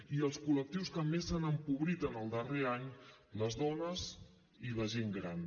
i els col·lectius que més s’han empobrit en el darrer any les dones i la gent gran